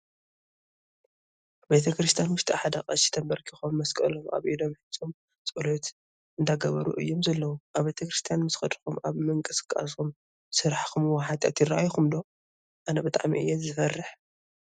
ኣብ ቤተ-ክርስትያን ውሽጢ ሓደ ቀሺ ተበርኺኾም መስቀሎም ኣብ ኢዶም ሒዞም ፅሎት እንዳገበሩ እዮም ዘለው። ኣብ ቤተ-ክርስትያን ምስኸድኹም ኣብ ምቅስቃስኹም ዝሰርሕክምዎ ሓጥያት ይረኣኹም ዶ? ኣነ ብጣዕሚ እየ ዝፈርሕ።